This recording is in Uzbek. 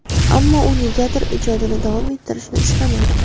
Ammo u negadir ijodini davom ettirishni istamadi.